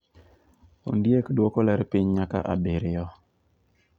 Ondiek duoko ler piny nyaka abiriyo